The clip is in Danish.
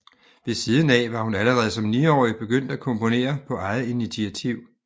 Ved siden af var hun allerede som niårig begyndt at komponere på eget initiativ